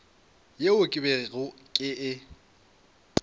yeo ke bego ke e